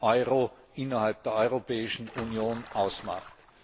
Euro innerhalb der Europäischen Union ausmacht.